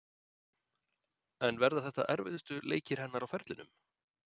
En verða þetta erfiðustu leikir hennar á ferlinum?